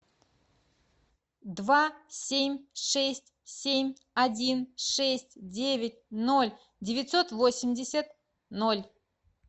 два семь шесть семь один шесть девять ноль девятьсот восемьдесят ноль